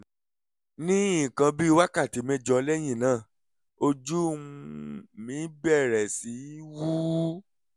ní nǹkan bí wákàtí mẹ́jọ lẹ́yìn náà ojú um mi bẹ̀rẹ̀ sí wú